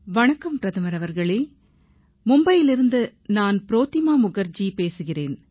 வணக்கம் பிரதமர் அவர்களே மும்பையிலிருந்து நான் புரோதிமா முகர்ஜி பேசுகிறேன்